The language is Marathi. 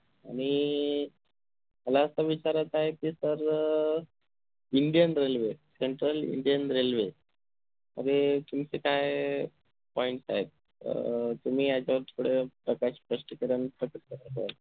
आणि मला असं विचारायच आहे कि sir um indian railway central indian railway आणि तुमचं काय point साहेब अह तुम्ही याच्यावर थोडं प्रकाश स्पश्टीकरण